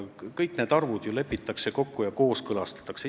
Kõik need arvud lepitakse kokku ja kooskõlastatakse.